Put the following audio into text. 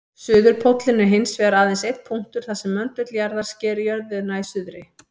Suðurpóllinn er hins vegar aðeins einn punktur þar sem möndull jarðar sker jörðina í suðri.